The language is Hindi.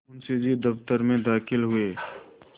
मुंशी जी दफ्तर में दाखिल हुए